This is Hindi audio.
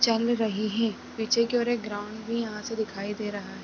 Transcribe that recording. चल रही है। पीछे की ओर एक ग्राउंड भी यहाँ से दिखाई दे रहा है।